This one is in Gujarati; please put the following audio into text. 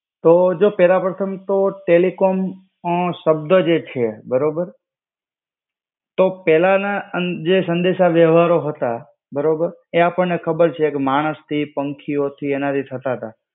તો જો પહેલા પ્રથમ તો ટેલિકોમ શબ્દ જે છે બરોબર તો પહેલાના જે સંદેશ વહેવારો હતા બરોબર, એ આપણને ખબર છે કે માણસથી પંખિયોથી એનાથી થતા હતા.